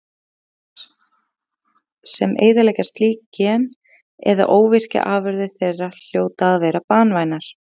Stökkbreytingar sem eyðileggja slík gen eða óvirkja afurðir þeirra hljóta að vera banvænar.